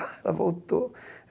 Ela voltou.